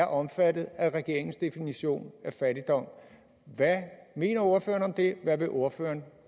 omfattet af regeringens definition af fattigdom hvad mener ordføreren om det hvad vil ordføreren